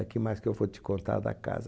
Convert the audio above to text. O que mais que eu vou te contar da casa?